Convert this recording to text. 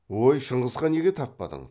өй шыңғысқа неге тартпадың